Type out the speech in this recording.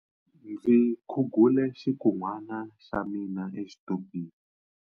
Ndzi khugule xikunwana xa mina exitupini.